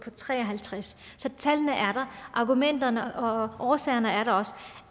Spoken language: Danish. tre og halvtreds så tallene er der og argumenterne og årsagerne er der også